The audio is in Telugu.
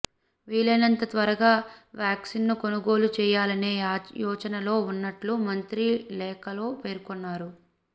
వీలైనంత త్వరగా వ్యాక్సిన్ ను కొనుగోలు చేయాలనే యోచనలో ఉన్నట్లు మంత్రి లేఖలో పేర్కొన్నారు